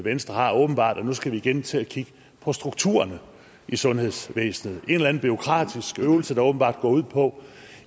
venstre har åbenbart at nu skal vi igen til at kigge på strukturerne i sundhedsvæsenet en eller anden bureaukratisk øvelse der åbenbart går ud på